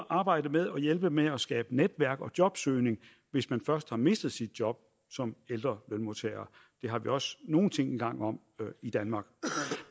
arbejdet med at hjælpe med at skabe netværk og jobsøgning hvis man først har mistet sit job som ældre lønmodtager det har vi også nogle ting i gang om i danmark